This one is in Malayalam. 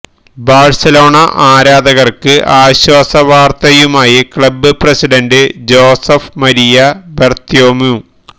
ബാഴ്സലോണ ആരാധകര്ക്ക് ആശ്വാസവാര്ത്തയുമായി club president Josep Maria Bartomeu